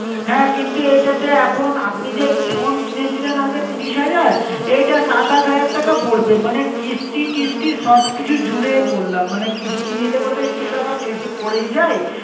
হ্যাঁ, কিন্তু এইটাতে এখন আপনি যে phone কিনেছিলেন আগে তিরিশ হাজার, এটা সাতাশ হাজার টাকা পড়বে। মানে কিস্তি টিস্তি সব কিছু জুড়ে বললাম। মানে কিস্তি নিলে পরে তো একটু টাকা বেশি পড়েই যায়।